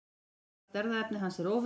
Mestallt erfðaefni hans er óvirkt.